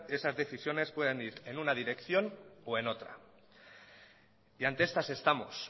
esas decisiones puedan ir en una dirección o en otra y ante estas estamos